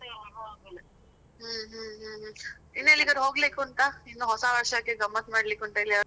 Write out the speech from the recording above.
ಹ್ಮ್ ಹ್ಮ್. ಹ್ಮ್ಹ್ಮ್ ಹ್ಮ್. ಈನ್ ಎಲ್ಲಿಗಾದ್ರೂ ಹೋಗ್ಲಿಕ್ಕೆ, ಉಂಟಾ? ಇನ್ನು ಹೊಸ ವರ್ಷಕ್ಕೆ ಗಮ್ಮತ್ ಮಾಡ್ಲಿಕ್ಕೆ ಉಂಟಾ ಎಲ್ಲಿಯಾದ್ರೂ?